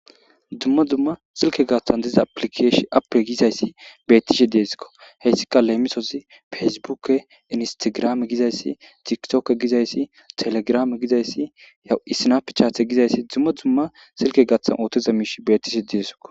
Dzumma dzumma silke gaaththan diza aplikeesh appe gizayssi bettishe deesikko heyssika leemisozi feysibukke inistigrame gizayssi tikitoke gizayssi telegrame gizayssi yawu isinafechathe gizayssi dzumma dzumma silke gaththan ootoza miish bettishe di'esiko.